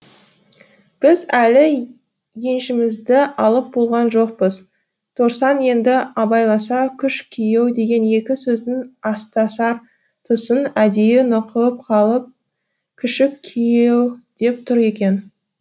біз әлі еншімізді алып болған жоқпыз торсан енді абайласа күш күйеу деген екі сөздің астасар тұсын әдейі нұқып қалып күшік күйеу деп тұр екен